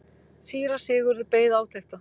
Síra Sigurður beið átekta.